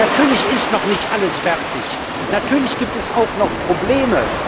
Natürlich ist noch nicht alles fertig, natürlich gibt es auch noch Probleme.